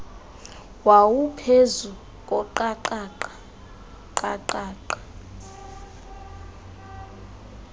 wawuphezu koqaqaqa qaqaqa